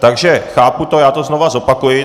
Takže chápu to, já to znovu zopakuji.